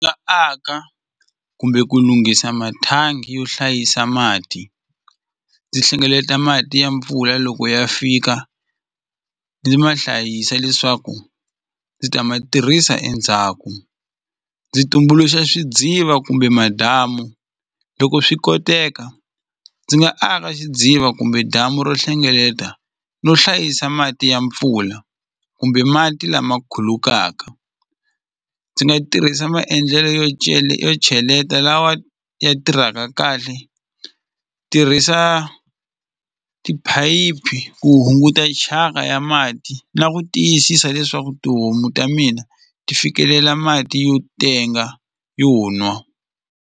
aka kumbe ku lunghisa mathangi yo hlayisa mati ndzi hlengeleta mati ya mpfula loko ya fika ndzi ma hlayisa leswaku ndzi ta ma tirhisa endzhaku ndzi tumbuluxa swidziva kumbe madamu loko swi koteka ndzi nga aka xidziva kumbe damu ro hlengeleta no hlayisa mati ya mpfula kumbe mati lama khulukaka ndzi nga tirhisa maendlelo yo yo cheleta lawa ya tirhaka kahle tirhisa tiphayiphi ku hunguta chaka ya mati na ku tiyisisa leswaku tihomu ta mina ti fikelela mati yo tenga yo nwa.